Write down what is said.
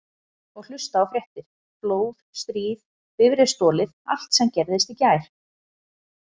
Og hlusta á fréttir: flóð, stríð, bifreið stolið allt sem gerðist í gær.